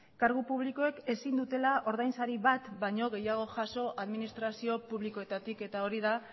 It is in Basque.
kargu publikoek ezin dutela ordain sari bat baino gehiago jaso administrazio publikoetatik eta hori da